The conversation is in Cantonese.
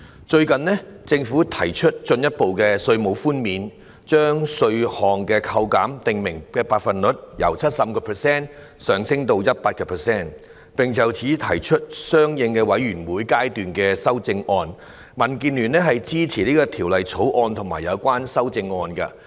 最近政府提出進一步的稅務寬免，將稅項扣減的訂明百分率，由 75% 提升至 100%， 並就此提出相應的委員會階段修正案，民主建港協進聯盟支持《條例草案》和有關修正案。